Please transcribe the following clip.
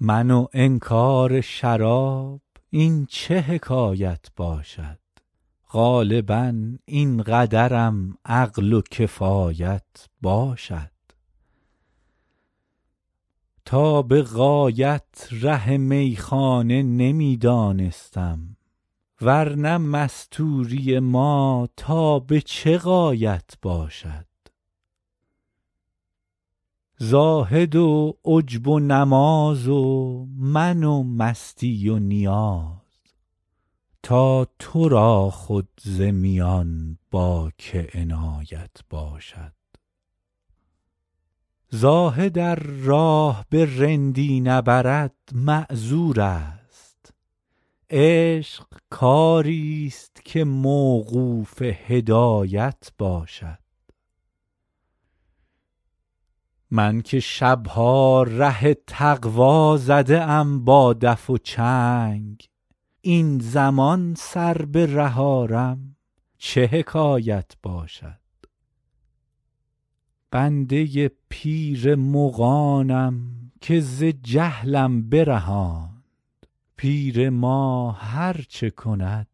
من و انکار شراب این چه حکایت باشد غالبا این قدرم عقل و کفایت باشد تا به غایت ره میخانه نمی دانستم ور نه مستوری ما تا به چه غایت باشد زاهد و عجب و نماز و من و مستی و نیاز تا تو را خود ز میان با که عنایت باشد زاهد ار راه به رندی نبرد معذور است عشق کاری ست که موقوف هدایت باشد من که شب ها ره تقوا زده ام با دف و چنگ این زمان سر به ره آرم چه حکایت باشد بنده پیر مغانم که ز جهلم برهاند پیر ما هر چه کند